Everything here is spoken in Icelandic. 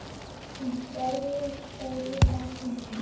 Að hlæja, sagði Abba hin.